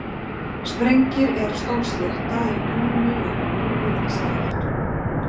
Sprengir er stór slétta í túninu í Ögri við Ísafjarðardjúp.